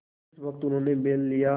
जिस वक्त उन्होंने बैल लिया